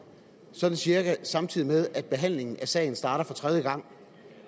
sådan cirka samtidig med at behandlingen af sagen starter for tredje gang